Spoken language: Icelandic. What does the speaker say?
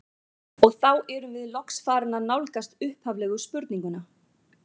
Og þá erum við loks farin að nálgast upphaflegu spurninguna.